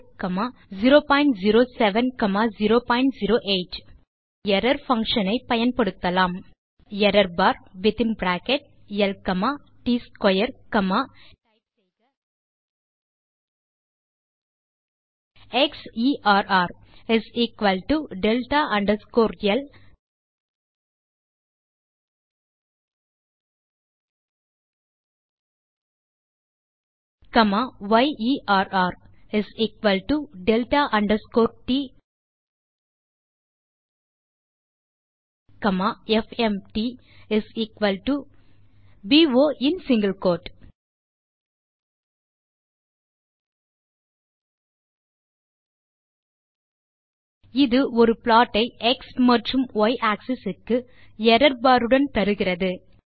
type செய்க error bar within bracket l comma t square comma xerrdelta underscore l comma yerrdelta underscore t comma fmtbo in single quote இது ஒரு plot ஐ X மற்றும் y axis க்கு error bar உடன் தருகிறது